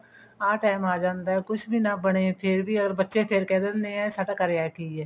ਆਹ ਟੇਮ ਆ ਜਾਂਦਾ ਕੁਛ ਵੀ ਨਾ ਬਣੇ ਫ਼ੇਰ ਵੀ ਅਗਰ ਬੱਚੇ ਫ਼ੇਰ ਕਿਹ ਦਿੰਦੇ ਨੇ ਸਾਡਾ ਕਰਿਆ ਕੀ ਹੈ